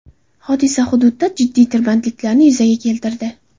Hodisa hududda jiddiy tirbandliklarni yuzaga keltirdi.